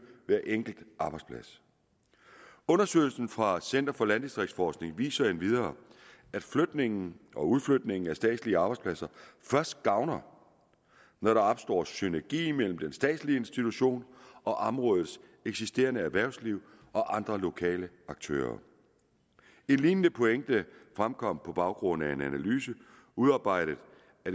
hver enkelt arbejdsplads undersøgelsen fra center for landdistriktsforskning viser endvidere at flytningen og udflytningen af statslige arbejdspladser først gavner når der opstår synergi imellem den statslige institution og områdets eksisterende erhvervsliv og andre lokale aktører en lignende pointe fremkom på baggrund af en analyse udarbejdet